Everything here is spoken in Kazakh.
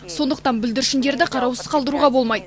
сондықтан бүлдіршіндерді қараусыз қалдыруға болмайды